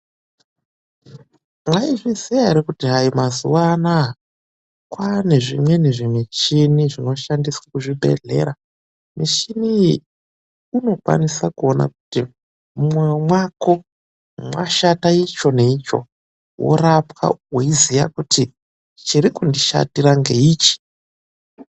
Mwaizviziya ere kuti hayi mazuwa anaya kwaane zvimweni zvimuchini zvinoshandiswe kuzvibhedhlera. Michini iyi inokwanisa kuona kuti mumwoyo mwako mwashata icho neicho worapwa weiziya kuti chiri kundishatira ngeichi.